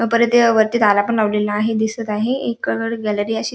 परत वरती तारा पण लावलेल्या आहे दिसत आहे एक गॅलरी अशी--